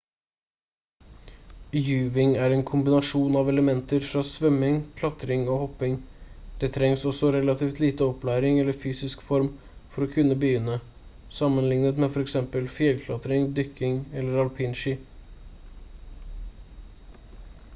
juving er en kombinasjon av elementer fra svømming klatring og hopping – det trengs også relativt lite opplæring eller fysisk form for å kunne begynne sammenlignet med f.eks. fjellklatring dykking eller alpinski